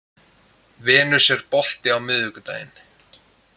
Venus, er bolti á miðvikudaginn?